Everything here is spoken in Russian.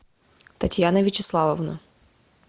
татьяна вячеславовна